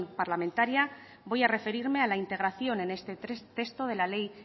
parlamentaria voy a referirme a la integración en este texto de la ley